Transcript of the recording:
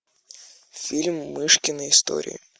фильм мышкины истории